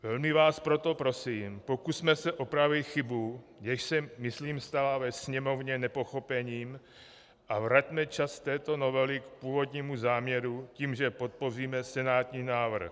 Velmi vás proto prosím, pokusme se opravit chybu, jež se myslím stala ve Sněmovně nepochopením, a vraťme čas této novely k původnímu záměru tím, že podpoříme senátní návrh.